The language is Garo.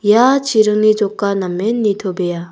ia chiringni joka namen nitobea.